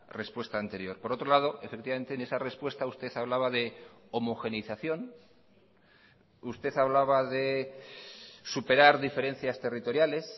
respuesta anterior por otro lado efectivamente en esa respuesta usted hablaba de homogeneización usted hablaba de superar diferencias territoriales